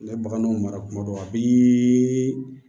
Ne ye baganw mara kuma dɔ a b'i